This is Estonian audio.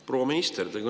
Proua minister!